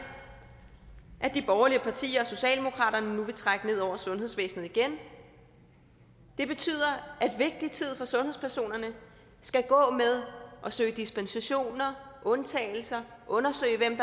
de borgerlige partier og socialdemokraterne nu vil trække ned over sundhedsvæsenet igen det betyder at vigtig tid for sundhedspersonerne skal gå med at søge dispensationer og undtagelser at undersøge hvem